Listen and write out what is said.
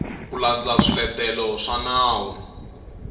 ku landza swiletelo swa nawu